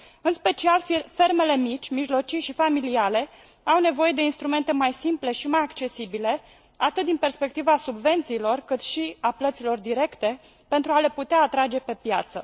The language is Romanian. În special fermele mici, mijlocii și familiale au nevoie de instrumente mai simple și mai accesibile atât din perspectiva subvențiilor, cât și a plăților directe pentru a le putea atrage pe piață.